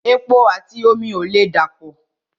Epo àti omi ò lè dà pọ̀